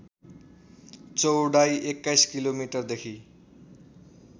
चौडाइ २१ किलोमिटरदेखी